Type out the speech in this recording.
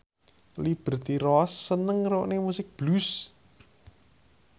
Liberty Ross seneng ngrungokne musik blues